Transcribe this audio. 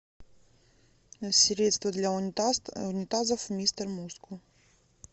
средство для унитазов мистер мускул